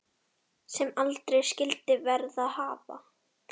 Sem aldrei skyldi verið hafa.